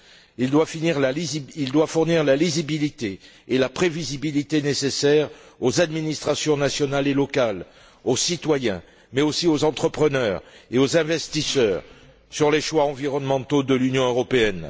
Il doit fournir la lisibilité et la prévisibilité nécessaires aux administrations nationales et locales, aux citoyens mais aussi aux entrepreneurs et aux investisseurs sur les choix environnementaux de l'Union européenne.